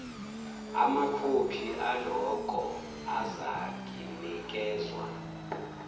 amakhophi aloko azakinikezwa